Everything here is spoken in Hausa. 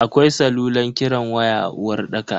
Akwai salulan kiran waya a uwarɗakar.